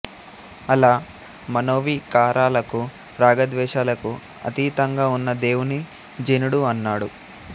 అలా మనోవికారాలకు రాగద్వేషాలకు అతీతంగా ఉన్న దేవుని జినుడు అన్నాడు